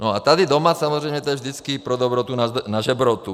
No a tady doma samozřejmě je to vždycky pro dobrotu na žebrotu.